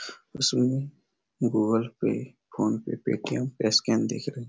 जिसमे Google Pay PhonePe Paytm का scan दिख रहा है।